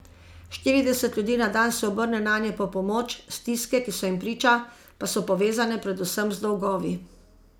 Štirideset ljudi na dan se obrne nanje po pomoč, stiske, ki so jim priča, pa so povezane predvsem z dolgovi.